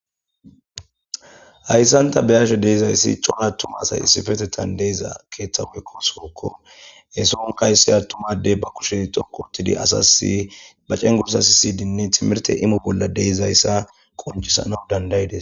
hayssan ta beyashe de'izayssi coho attuma asay issifetetan deeza keeththaweekko sookko eson kaysse attumadey ba kushe xokotidi asasi ba cen gursas hisidinne timirte imo bolla deizayssa qoncisana dandaydes